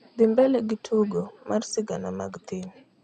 dhi mbele gi tugo mar sigana mag thim